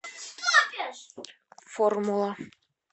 формула